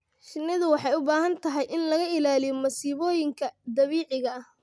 Shinnidu waxay u baahan tahay in laga ilaaliyo masiibooyinka dabiiciga ah.